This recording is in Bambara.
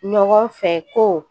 Ɲɔgɔn fɛ ko